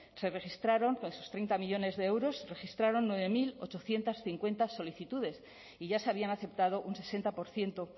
se registraron esos treinta millónes de euros se registraron nueve mil ochocientos cincuenta solicitudes y ya se habían aceptado un sesenta por ciento